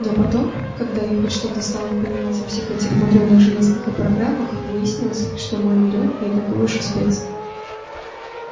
но потом когда я хоть что-то стала понимать во всех этих мудрёных железках и программах выяснилось что мой милёнок не такой уж и спец